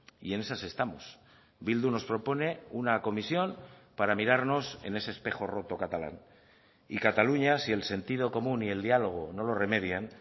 y en esas estamos bildu nos propone una comisión para mirarnos en ese espejo roto catalán y cataluña si el sentido común y el diálogo no lo remedian